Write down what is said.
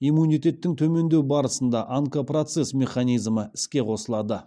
иммунитеттің төмендеу барысында онкопроцесс механизмі іске қосылады